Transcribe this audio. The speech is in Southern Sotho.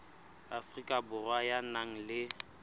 afrika borwa ya nang le